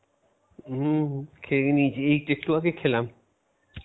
হম খেয়ে নিয়েছি এই তো একটু আগে খেলাম